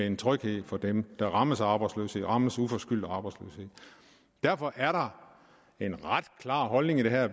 en tryghed for dem som rammes af arbejdsløshed som rammes uforskyldt af arbejdsløshed derfor er der en ret klar holdning i det her